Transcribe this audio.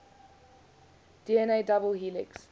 dna double helix